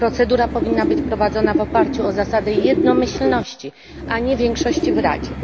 Procedura powinna być prowadzona w oparciu o zasadę jednomyślności, a nie większości w Radzie.